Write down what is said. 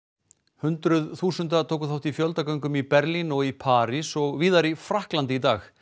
hundruð þúsunda tóku þátt í fjöldagöngum í Berlín og í París og víðar í Frakklandi í dag